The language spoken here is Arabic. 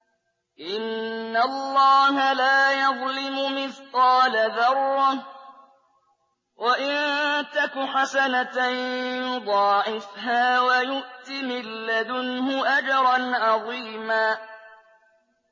إِنَّ اللَّهَ لَا يَظْلِمُ مِثْقَالَ ذَرَّةٍ ۖ وَإِن تَكُ حَسَنَةً يُضَاعِفْهَا وَيُؤْتِ مِن لَّدُنْهُ أَجْرًا عَظِيمًا